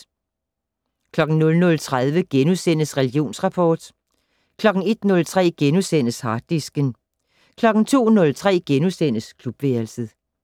00:30: Religionsrapport * 01:03: Harddisken * 02:03: Klubværelset *